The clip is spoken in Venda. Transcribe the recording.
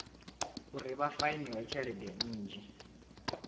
uri vha fainiwe tshelede nnzhi